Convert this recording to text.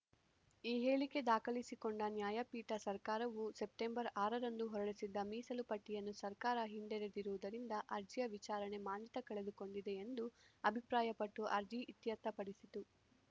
ಈ ಹೇಳಿಕೆ ದಾಖಲಿಸಿಕೊಂಡ ನ್ಯಾಯಪೀಠ ಸರ್ಕಾರವು ಸೆಪ್ಟೆಂಬರ್ ಆರರಂದು ಹೊರಡಿಸಿದ್ದ ಮೀಸಲು ಪಟ್ಟಿಯನ್ನು ಸರ್ಕಾರ ಹಿಂಡೆದಿರುವುದರಿಂದ ಅರ್ಜಿಯ ವಿಚಾರಣೆ ಮಾನ್ಯತೆ ಕಳೆದುಕೊಂಡಿದೆ ಎಂದು ಅಭಿಪ್ರಾಯಪಟ್ಟು ಅರ್ಜಿ ಇತ್ಯರ್ಥಪಡಿಸಿತು